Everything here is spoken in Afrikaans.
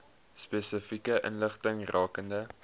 spesifieke inligting rakende